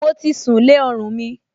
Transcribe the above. Mo ti sùn lé ọrùn mi